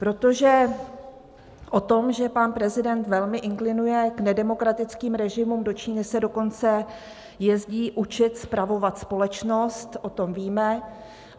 Protože o tom, že pan prezident velmi inklinuje k nedemokratickým režimům - do Číny se dokonce jezdí učit spravovat společnost, o tom víme.